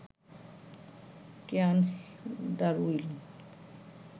Cairns, Darwin